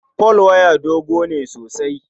Folwaya dogo ne sosai.